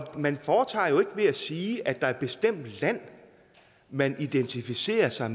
man foretager valg ved at sige at er et bestemt land man identificerer sig